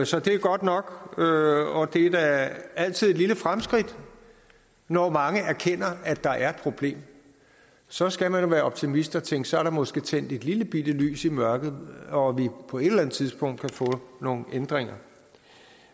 så det er godt nok og det er da altid et lille fremskridt når mange erkender at der er problem så skal man være optimist og tænke at så er der måske tændt et lillebitte lys i mørket og at vi på et eller andet tidspunkt kan få nogle ændringer